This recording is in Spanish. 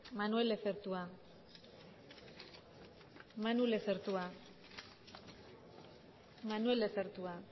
manuel lezertua manu lezertua manuel lezertua